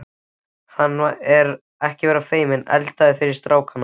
Ekki vera feiminn, eldaðu fyrir strákana.